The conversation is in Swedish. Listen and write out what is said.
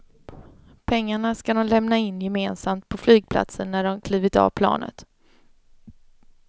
Pengarna ska de lämna in gemensamt på flygplatsen när de klivit av planet.